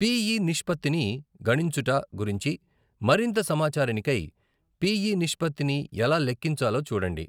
PE నిష్పత్తిని గణించుట గురించి మరింత సమాచారానికై, పిఈ నిష్పత్తిని ఎలా లెక్కించాలో చూడండి.